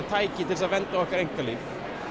tækið til að vernda okkar einkalíf